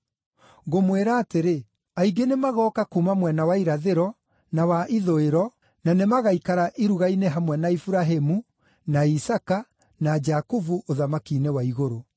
Ngũmwĩra atĩrĩ, aingĩ nĩmagooka kuuma mwena wa irathĩro na wa ithũĩro, na nĩmagaikara iruga-inĩ hamwe na Iburahĩmu, na Isaaka, na Jakubu, ũthamaki-inĩ wa igũrũ.